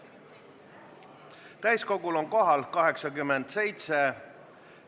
Täiskogul on kohal 87 Riigikogu liiget ja puudub 14.